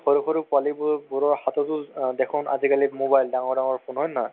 সৰু সৰু পোৱালিবোৰৰ হাততও দেখোন আজিকালি mobile ডাঙৰ ডাঙৰ phone হয় নে নহয়